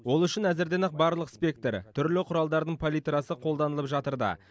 ол үшін әзірден ақ барлық спектр түрлі құралдардың палитрасы қолданылып жатыр да